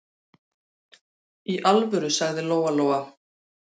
Í alvöru, sagði Lóa-Lóa.